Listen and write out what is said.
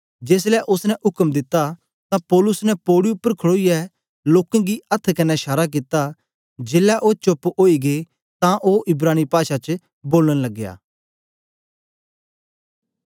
जेसलै ओसने उक्म दित्ता तां पौलुस ने पौड़ी उपर खड़ोईयै लोकें गी अथ्थ कन्ने शारा कित्ता जेलै ओ चोप्प ओई गै तां ओ इब्रानी पाषा च बोलन लगया